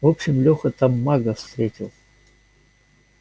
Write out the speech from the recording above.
в общем лёха там мага встретил